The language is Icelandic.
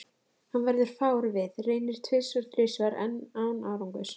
Hann verður fár við, reynir tvisvar-þrisvar enn, án árangurs.